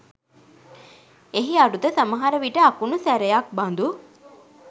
එහි අරුත සමහරවිට අකුණු සැරයක් බඳු